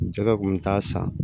Cɛkɛ kun bɛ taa san